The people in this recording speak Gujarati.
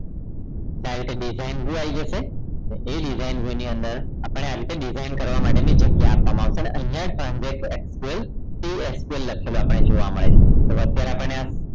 તો આ રીતે design view આવી જશે અને એ design view ની અંદર આપણને design કરવા માટે ની જગ્યા આપવામાં આવશે અને અહીંયા update sql csql લખેલું જોવા મળે છે તો હવે અત્યારે આપણને